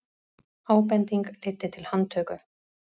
Ábending leiddi til handtöku